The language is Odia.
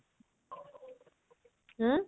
ହାଁ?